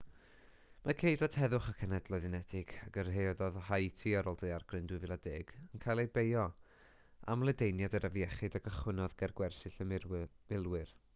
mae ceidwaid heddwch y cenhedloedd unedig a gyrhaeddodd haiti ar ôl daeragryn 2010 yn cael eu beio am ledaeniad yr afiechyd a gychwynnodd ger gwersyll y milwyr